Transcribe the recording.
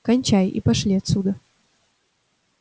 кончай и пошли отсюда